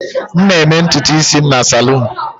M na-eme ntutu isi m na salon.